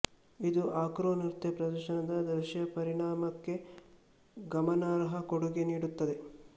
ಇದು ಆಕ್ರೊ ನೃತ್ಯ ಪ್ರದರ್ಶನದ ದೃಶ್ಯ ಪರಿಣಾಮಕ್ಕೆ ಗಮನಾರ್ಹ ಕೊಡುಗೆ ನೀಡುತ್ತದೆ